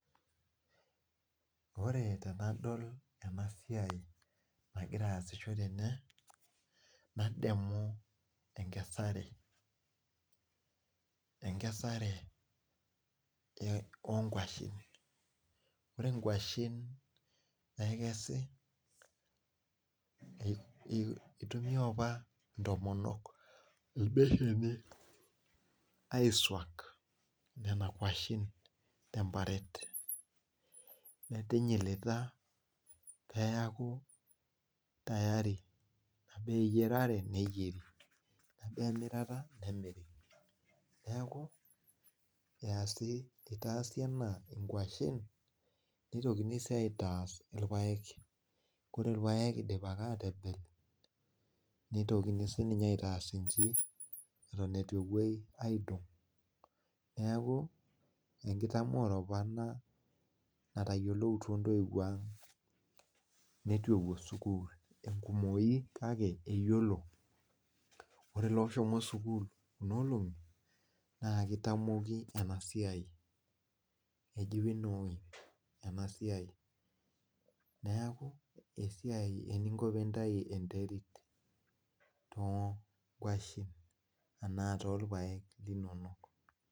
Ore tenadol ena siai nagira aasisho tene nademu enkesare enkesare eo onkuashen ore inkuashen nekesi ei itumia opa intomonok imbesheni aisuak nena kuashen temparet metinyilita peyaku tayari aba eyiarare neyieri ebaa emirata nemiri neeku eyasi itaasi ena inkuashen nitokini sii aitaas ilpayek kore ilpayek idipaki atebel nitokini sininye aitaas inji eton etu epuoi aidong neeku enkitamoore opa ena natayioloutuo intoiwuo ang netu epuo sukuul enkumoki kake eyiolo ore ilooshomo sukuul kuna olong'i naa kitamoki ena siai eji winnowing ena siai neeku esiai eninko pintai enterit tonkuashen enaa tolpayek linonok.